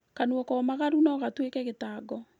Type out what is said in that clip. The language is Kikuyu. Kanua komagaru no gatuĩke gĩtango